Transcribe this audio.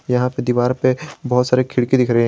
यहां पे दीवार पे बहुत सारे खिड़की दिख रहे।